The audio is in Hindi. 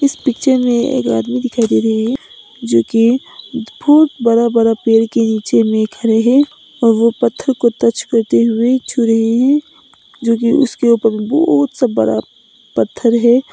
पिक्चर में एक आदमी दिखाई दे रहे हैं जो की बहुत बड़ा बड़ा पेड़ के नीचे में खड़े हैं और वह पत्थर को टच करते हुए छू रहे हैं जो कि उसके ऊपर बहुत से बड़ा पत्थर है।